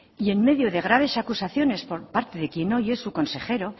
y en medio de graves acusaciones por parte de quien hoy es su consejero